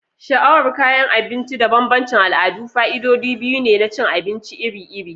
Sha'awar kayan abinci da bambancin al'adu fa'idodi biyu ne na cin abinci iri-iri.